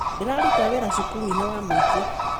Ndĩraruta wĩra cukuru -inĩ wa mũingĩ